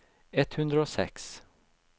ett hundre og seks